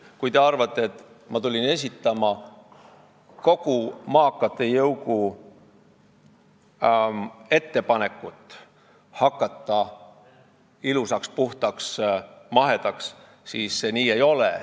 Kui te arvate, et ma tulin siia esitama kogu maakate jõugu ettepanekut hakata ilusaks, puhtaks ja mahedaks, siis nii see ei ole.